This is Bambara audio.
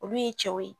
Olu ye cɛw ye